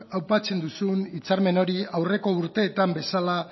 aipatzen duzun hitzarmen hori aurreko urteetan bezala